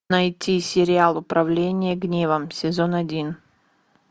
найти сериал управление гневом сезон один